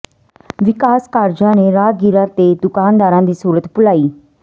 ਵਿਕਾਸ ਕਾਰਜਾਂ ਨੇ ਰਾਹਗੀਰਾਂ ਤੇ ਦੁਕਾਨਦਾਰਾਂ ਦੀ ਸੁਰਤ ਭੁਲਾਈ